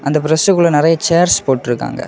இந்த பிரஸ்க்குள்ள நிறைய சேரஸ் போட்டீர்காங்க.